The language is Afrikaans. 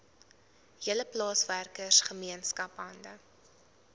hele plaaswerkergemeenskap hande